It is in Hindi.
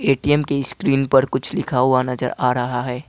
ए_टी_एम की स्क्रीन पर कुछ लिखा हुआ नजर आ रहा है।